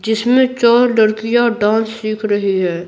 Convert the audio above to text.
जिसमें चार लड़कियां डांस सीख रही है।